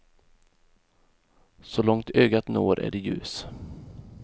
Så långt ögat når är det ljus.